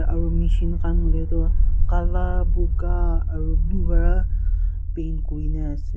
aro machine khan hoiley toh kala puka aro blue para paint kuri kena ase.